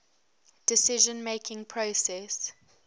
decision making process